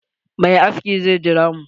Mai aski zai jira mu.